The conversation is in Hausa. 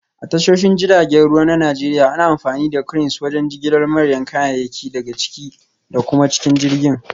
A tashoshin jiragen ruwa na Najeriya, ana amfani da Cranes wajen jigilar manyan kayayyaki daga ciki da kuma cikin jirgin